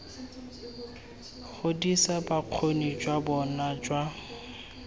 godisa bokgoni jwa bona jwa